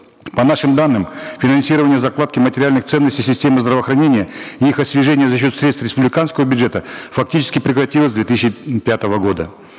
по нашим данным финансирование закладки материальных ценностей системы здравоохранения и их освежение за счет средств республиканского бюджета фактически прекратилось в две тысячи пятого года